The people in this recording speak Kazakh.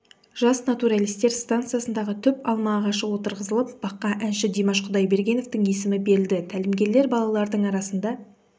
жас натуралистер стансасында түп алма ағашы отырғызылып баққа әнші димаш құдайбергеновтің есімі берілді тәлімгерлер балалардың арасында